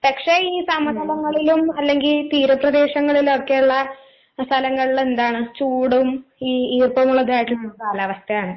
പക്ഷെ ഈ സമതലങ്ങളിലും അല്ലെങ്കി തീരപ്രദേശങ്ങളിലൊക്കെയുള്ള സ്ഥലങ്ങളില് എന്താണ് ചൂടും ഈ ഈർപ്പമുള്ളതായിട്ടിരിക്കുന്നൊരു കാലാവസ്ഥയാണ്.